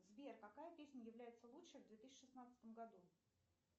сбер какая песня является лучшей в две тысячи шестнадцатом году